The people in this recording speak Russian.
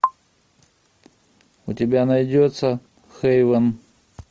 у тебя найдется хейвен